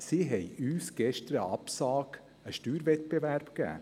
Sie haben uns gestern eine Absage an den Steuerwettbewerb gegeben.